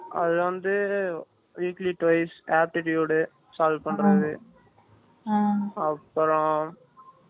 அது வந்து weekly twice aptitude solve பண்றது அப்றோம் ம்ம்